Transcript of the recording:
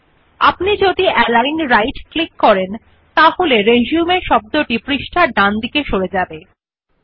যদি আমরা উপর জাস্টিফাই ক্লিক করুন আপনি যে এখন শব্দ রিসিউম সাথে সংযুক্ত করা হয় যেমন যে টেক্সট অবিশেষে পৃষ্ঠার ডান ও বাম মার্জিন মধ্যে স্থাপন করা হবে